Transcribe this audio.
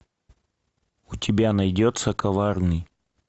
у тебя найдется коварный